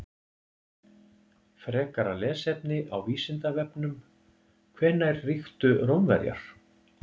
Frekara lesefni á Vísindavefnum: Hvenær ríktu Rómverjar?